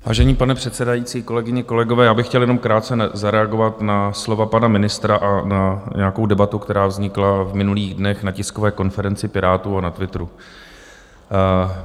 Vážený pane předsedající, kolegyně, kolegové, já bych chtěl jenom krátce zareagovat na slova pana ministra a na nějakou debatu, která vznikla v minulých dnech na tiskové konferenci Pirátů a na Twitteru.